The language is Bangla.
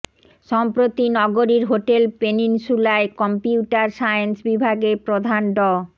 সম্প্রতি নগরীর হোটেল পেনিনসুলায় কম্পিউটার সায়েন্স বিভাগের প্রধান ড